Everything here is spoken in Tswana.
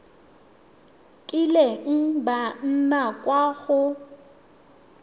kileng ba nna kwa go